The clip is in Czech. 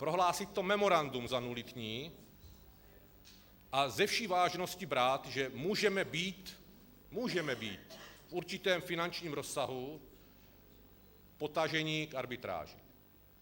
Prohlásit to memorandum za nulitní a se vší vážností brát, že můžeme být - můžeme být - v určitém finančním rozsahu potaženi k arbitráži.